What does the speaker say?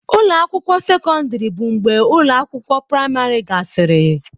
Ụlọ akwụkwọ sekọndrị bụ mgbe ụlọ akwụkwọ praịmarị gasịrị.